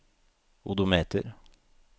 odometer